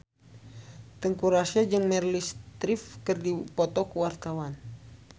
Teuku Rassya jeung Meryl Streep keur dipoto ku wartawan